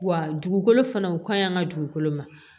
Wa dugukolo fana u kaɲi an ka dugukolo ma